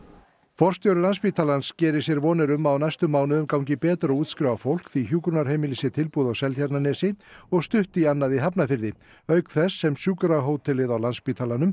forstjóri Landspítalans gerir sér vonir um að á næstu mánuðum gangi betur að útskrifa fólk því hjúkrunarheimili sé tilbúið á Seltjarnarnesi og stutt í annað í Hafnarfirði auk þess sem sjúkrahótelið á Landspítalanum